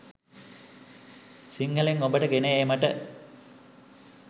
සිංහලෙන් ඔබට ගෙන ඒමට